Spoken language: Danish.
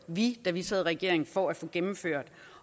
vi da vi sad i regering for at få gennemført